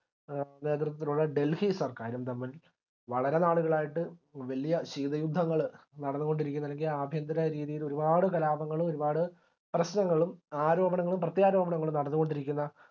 A നേതൃത്വത്തിലുള്ള delhi സർക്കാരും തമ്മിൽ വളരെ നാളുകളായിട്ട് വല്യ ശീത യുദ്ധങ്ങളെ നടന്നുകൊണ്ടിരിക്കുന്ന അല്ലെങ്കിൽ ആഭ്യന്തര രീതില് ഒരുപാട് കലാപങ്ങള് ഒരുപാട് പ്രശ്നങ്ങളും ആരോപണങ്ങളും പ്രത്യാരോപണങ്ങളും നടന്നുകൊണ്ടിരിക്കുന്ന